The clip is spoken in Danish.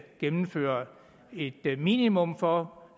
gennemført et minimum for